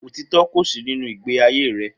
Otitọ kò sí nínú igbe ayé rẹ